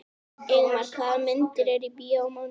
Ingimar, hvaða myndir eru í bíó á mánudaginn?